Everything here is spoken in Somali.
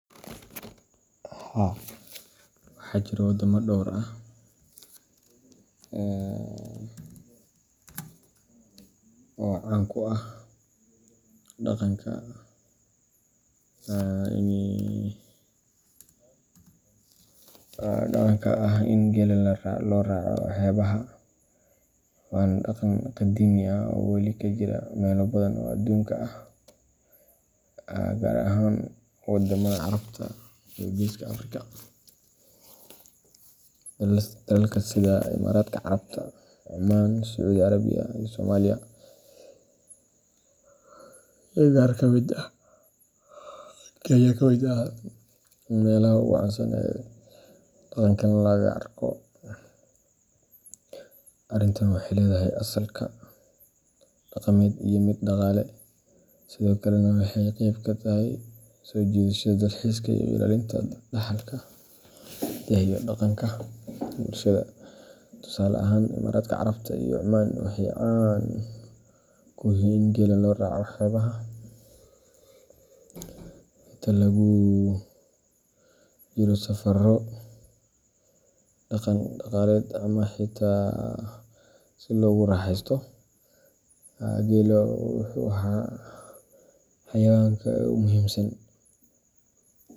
Haa waxaa jira waddamo dhowr ah oo caan ku ah dhaqanka ah in geela loo raaco xeebaha, waana dhaqan qadiimi ah oo weli ka jira meelo badan oo adduunka ah, gaar ahaan wadamada Carabta iyo Geeska Afrika. Dalalka sida Imaaraadka Carabta, Cumaan, Sacuudi Carabiya, iyo Soomaaliya iyo qaar Kenya kamid ah meelaha ugu caansan ee dhaqankan laga arko. Arrintan waxay leedahay asalka dhaqameed iyo mid dhaqaale, sidoo kalena waxay qeyb ka tahay soo jiidashada dalxiiska iyo ilaalinta dhaxalka hidaha iyo dhaqanka bulshada. Tusaale ahaan, Imaaraadka Carabta iyo Cumaan waxay caan ku yihiin in geela loo raaco xeebaha inta lagu guda jiro safarro dhaqan-dhaqaaleed ama xitaa si loogu raaxeysto. Geelu wuxuu ahaa xayawaanka ugu muhiimsan.